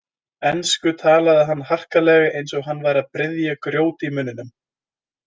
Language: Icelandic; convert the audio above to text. Ensku talaði hann harkalega, eins og hann væri að bryðja grjót í munninum.